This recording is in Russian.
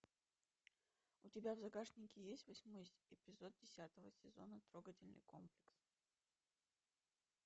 у тебя в загашнике есть восьмой эпизод десятого сезона трогательный комплекс